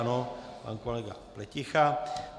Ano, pan kolega Pleticha.